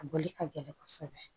A bɔli ka gɛlɛn kosɛbɛ